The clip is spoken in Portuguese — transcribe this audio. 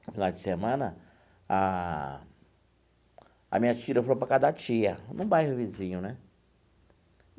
Finais de semana, a as minhas filhas foram para a casa da tia, no bairro vizinho né.